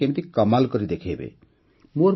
ଦେଖିବେ ସେ କେମିତି କମାଲ୍ କରି ଦେଖେଇବେ